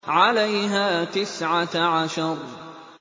عَلَيْهَا تِسْعَةَ عَشَرَ